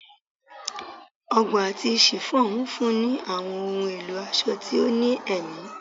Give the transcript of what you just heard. Ọgbọ ati chiffon nfunni awọn ohun elo aṣọ ti o ni ẹmi